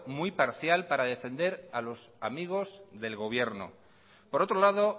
muy parcial para defender a los amigos del gobierno por otro lado